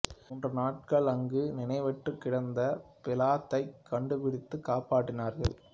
மூன்று நாட்கள் அங்கு நினைவற்றுக் கிடந்த பிளாத்தைக் கண்டுபிடித்துக் காப்பாற்றினார்கள்